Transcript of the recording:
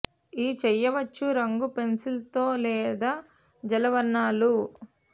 ఈ చేయవచ్చు రంగు పెన్సిల్స్ తో లేదా జలవర్ణాలు